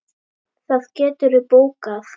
Það geturðu bókað.